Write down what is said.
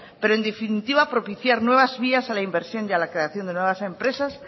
pero en definitiva propiciar nuevas vías a la inversión y a la creación de dadas empresas